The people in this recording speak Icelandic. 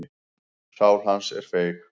Sál hans er feig.